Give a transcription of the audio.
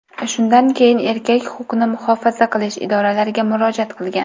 Shundan keyin erkak huquqni muhofaza qilish idoralariga murojaat qilgan.